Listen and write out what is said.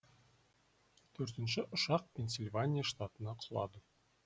төртінші ұшақ пенсильвания штатына құлады